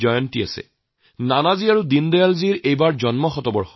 এইবছৰ তো আকৌ নানাজীৰ আৰু দীনদয়ালজীৰ জন্ম শতৱৰ্ষ